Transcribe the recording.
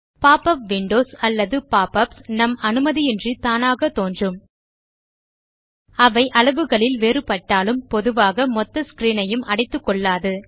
pop up windows அல்லது pop ups நம் அனுமதியின்று தானாக தோன்றும் அவை அளவுகளில் வேறுபடுட்டாலும் பொதுவாக மொத்த ஸ்க்ரீன் ஐயும் அடைத்துக்கொள்ளாது